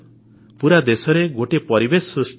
ପୁରା ଦେଶରେ ଗୋଟାଏ ପରିବେଶ ସୃଷ୍ଟି ହେଇଛି